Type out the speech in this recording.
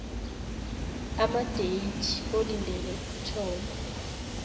amadeyithi olindele ukuthoma